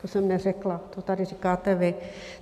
To jsem neřekla, to tady říkáte vy.